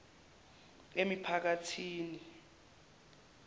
emiphakathini